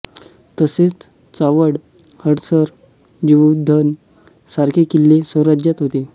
तसेच चावंड हडसर जीवधन सारखे किल्ले स्वराज्यात होते